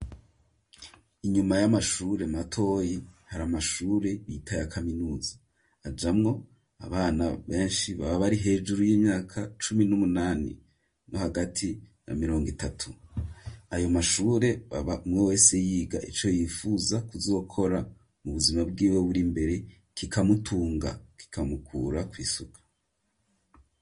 Inyuma y'amashure matoyi hari amashure yita ye kaminuza ajamwo abana benshi baba ari hejuru y'imyaka cumi n'umunani no hagati ya mirongo itatu ayo mashure baba mwo wese yiga ico yifuza kuzokora mu buzima bwiwe buri mbere kikamutunga kikamukura kw'isuka.